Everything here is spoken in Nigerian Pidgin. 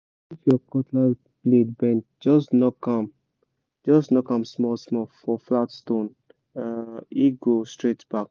if your cutlass blade bend just knock am just knock am small-small for flat stone—e go straight back